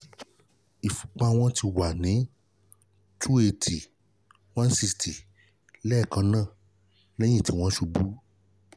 ìfúnpá wọn ti wà ní two eighty one sixty lẹ́ẹ̀kan náà lẹ̀yín tí wọ́n ṣubú